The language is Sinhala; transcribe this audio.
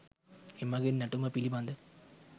එමගින් නැටුම පිළිබඳ